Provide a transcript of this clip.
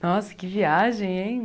Nossa, que viagem, hein?